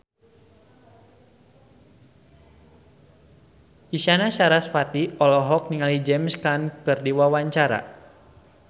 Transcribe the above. Isyana Sarasvati olohok ningali James Caan keur diwawancara